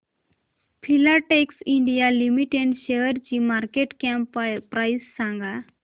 Filatex India limited शेअरची market cap price सांगा